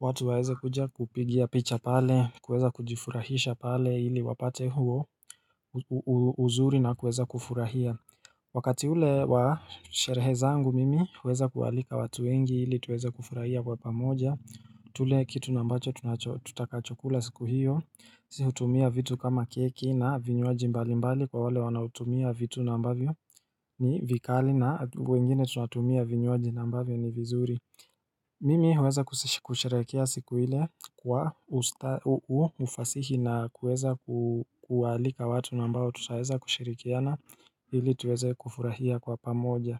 watu waeza kuja kupigia picha pale kueza kujifurahisha pale hili wapate huo uzuri na kueza kufurahia Wakati ule wa sherehe zangu mimi hueza kualika watu wengi hili tuweza kufurahia wapamoja tule kitu ambacho tutakachokula siku hiyo Sihutumia vitu kama keki na vinyuaji mbali mbali Kwa wale wanautumia vitu nambavyo ni vikali na wengine tunatumia vinyuaji nambavyo ni vizuri mimi huweza kusherekea siku ile kwa ufasihi na kuweza kualika watu naa mbao tutaweza kushirikiana ili tuweze kufurahia kwa pamoja.